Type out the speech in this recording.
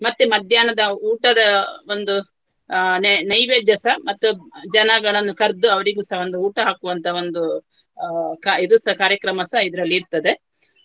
ಮತ್ತೆ ಮಧ್ಯಾಹ್ನದ ಊಟದ ಒಂದು ಅಹ್ ನೈ~ ನೈವೇದ್ಯಸ ಮತ್ತು ಜನಗಳನ್ನು ಕರ್ದು ಅವರಿಗುಸ ಒಂದು ಊಟ ಹಾಕುವಂತ ಒಂದು ಅಹ್ ಕಾ~ ಇದುಸ ಕಾರ್ಯಕ್ರಮಸ ಇದರಲ್ಲಿ ಇರ್ತದೆ.